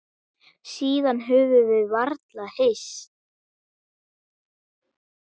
Síðan höfum við varla hist.